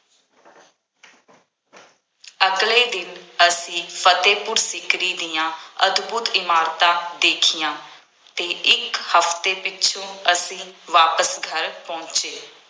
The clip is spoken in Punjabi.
ਅਗਲੇ ਦਿਨ ਅਸੀਂ ਫਤਿਹਪੁਰ ਸ਼ਿਕਰੀ ਦੀਆਂ ਅਦਭੁੱਤ ਇਮਾਰਤਾਂ ਦੇਖੀਆਂ ਅਤੇ ਇੱਕ ਹਫਤੇ ਪਿੱਛੋਂ ਅਸੀਂ ਵਾਪਸ ਘਰ ਪਹੁੰਚੇ।